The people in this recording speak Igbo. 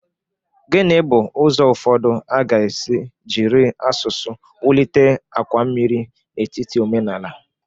Gini bu ụzọ ụfọdụ a ga-esi jiri asụsụ wulite àkwà mmiri n'etiti omenala?